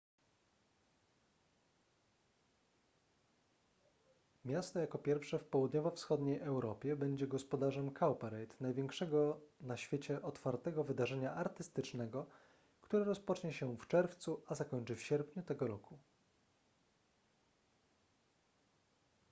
miasto jako pierwsze w południowo-wschodniej europie będzie gospodarzem cowparade największego na świecie otwartego wydarzenia artystycznego które rozpocznie się w czerwcu a zakończy w sierpniu tego roku